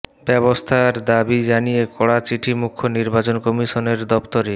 ব্যবস্থার দাবি জানিয়ে কড়া চিঠি মুখ্য নির্বাচন কমিশনারের দফতরে